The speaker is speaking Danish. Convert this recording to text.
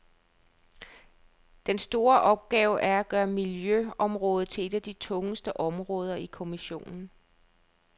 Den store opgave er at gøre miljøområdet til et af de tunge områder i kommissionen.